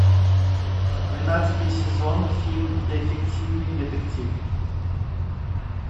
двенадцатый сезон фильм дефективный детектив